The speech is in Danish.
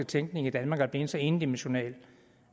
tænkning i danmark er blevet så endimensional